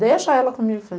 Deixa ela comigo.